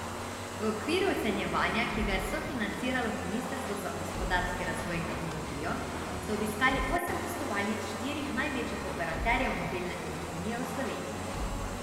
V okviru ocenjevanja, ki ga je sofinanciralo ministrstvo za gospodarski razvoj in tehnologijo, so obiskali osem poslovalnic štirih največjih operaterjev mobilne telefonije v Sloveniji.